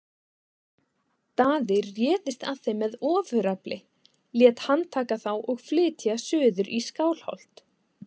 Daði réðist að þeim með ofurefli, lét handtaka þá og flytja suður í Skálholt.